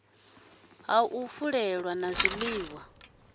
ha u fulela na zwiliwa